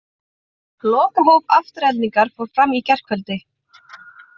Lokahóf Aftureldingar fór fram í gærkvöldi.